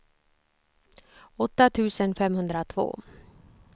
åtta tusen femhundratvå